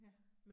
Ja